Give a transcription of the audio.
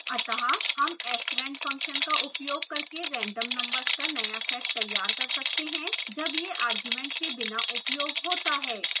अतः हम srand function का उपयोग करके random numbers का नया set तैयार कर सकते हैं जब यह argument के बिना उपयोग होता है